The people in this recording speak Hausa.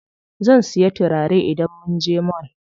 Zan siya turare idan munje mall.